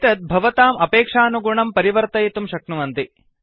एतद् भवताम् अपेक्षानुगुणं परिवर्तयितुम् शक्नुवन्ति